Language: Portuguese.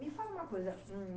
Me fala uma coisa. Hm.